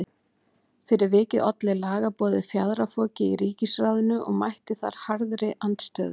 Fyrir vikið olli lagaboðið fjaðrafoki í ríkisráðinu og mætti þar harðri andstöðu.